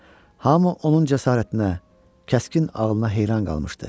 Hamı onun cəsarətinə, kəskin ağlına heyran qalmışdı.